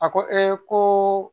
A ko ee ko